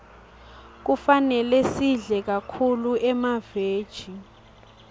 kufane sidle kakhulu emaveji